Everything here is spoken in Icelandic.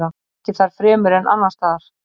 Ekki þar fremur en annarsstaðar.